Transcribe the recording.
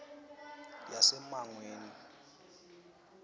yasemangweni